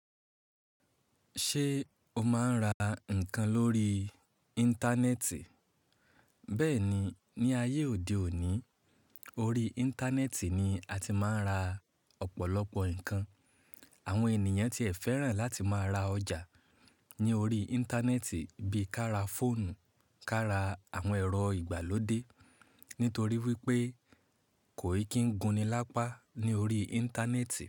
Ṣé o máa ń ra nǹkan lórí Íńtánẹ́ẹ̀tì? Bẹ́ẹ̀ni, ní ayé òde òní, orí Íńtánẹ́ẹ̀tì ni a ti máa ń ra ọ̀pọ̀lọpọ̀ nǹkan. Àwọn ènìyàn ti ẹ̀ fẹ́ràn láti má ra ọjà ní orí Íńtánẹ́ẹ̀tì bí i ká ra fóònù, ká ra àwọn ẹ̀rọ ìgbàlódé, nítorí wípé kò ì kí ń gunni lápá ní orí Íńtánẹ́ẹ̀tì.